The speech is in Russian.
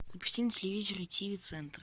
включи на телевизоре тв центр